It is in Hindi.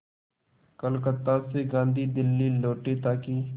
कलकत्ता से गांधी दिल्ली लौटे ताकि